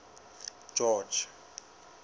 george